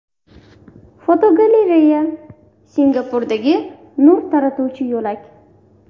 Fotogalereya: Singapurdagi nur taratuvchi yo‘lak.